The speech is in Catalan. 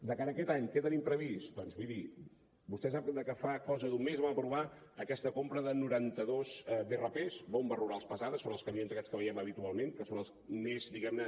de cara a aquest any què tenim previst doncs miri vostè sap que fa cosa d’un mes vam aprovar aquesta compra de noranta dos brp bombes rurals pesants són els camions aquests que veiem habitualment que són els més diguem ne